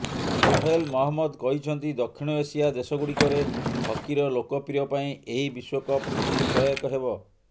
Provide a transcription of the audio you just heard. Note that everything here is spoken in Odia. ସୋହେଲ ମହମ୍ମଦ କହିଛନ୍ତି ଦକ୍ଷିଣ ଏସିଆ ଦେଶଗୁଡିକରେ ହକିର ଲୋକପ୍ରିୟ ପାଇଁ ଏହି ବିଶ୍ୱକପ ହକି ସହାୟକ ହେବ